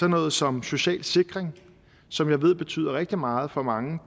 noget som social sikring som jeg ved betyder rigtig meget for mange